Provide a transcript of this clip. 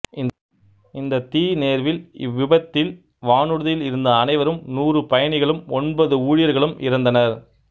இந்தத் தீநேர்வில் இவ்விபத்தில் வானூர்தியில் இருந்த அனைவரும் நூறு பயணிகளும் ஒன்பது ஊழியர்களும் இறந்தனர்